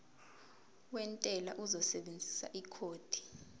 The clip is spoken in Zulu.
wentela uzosebenzisa ikhodi